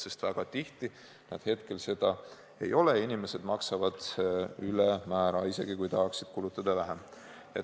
Sest väga tihti nad hetkel seda ei ole ja inimesed maksavad ülemäära, isegi kui tahaksid kulutada vähem.